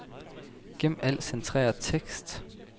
Gem al centreret tekst.